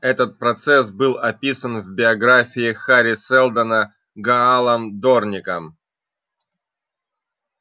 этот процесс был описан в биографии хари сэлдона гаалом дорником